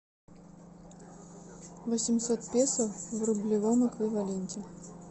восемьсот песо в рублевом эквиваленте